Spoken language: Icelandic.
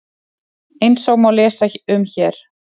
Eins og má lesa um hér